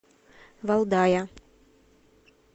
валдая